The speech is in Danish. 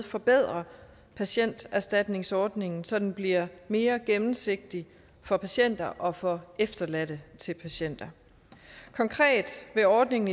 forbedrer patienterstatningsordningen så den bliver mere gennemsigtig for patienter og for efterladte til patienter konkret vil ordningen